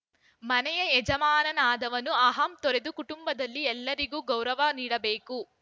ಮನೆಯ ಯಜಮಾನನಾದವನು ಅಹಂ ತೊರೆದು ಕುಟುಂಬದಲ್ಲಿ ಎಲ್ಲರಿಗೂ ಗೌರವ ನೀಡಬೇಕು